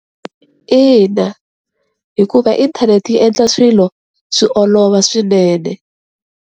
Ina, hikuva inthanete yi endla swilo swi olova swinene.